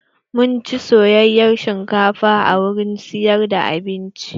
Mun ci soyayen shinkafa a wurin siyar da abinci.